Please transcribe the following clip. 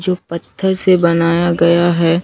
जो पत्थर से बनाया गया है।